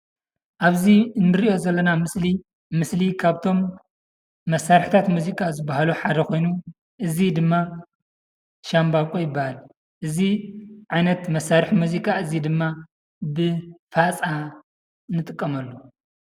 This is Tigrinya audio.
ኣብዚ እንሪኦ ዘለና ምስሊ ምስሊ ካብቶም መሳርሕታት ሙዚቃ ዝበሃሉ ሓደ ኾይኑ እዚ ድማ ሻምባቆ ይበሃል፡፡ እዚ ዓይነት ማሳርሒ ሙዚቃ እዚ ድማ ብፋፃ ንጥቀመሉ፡፡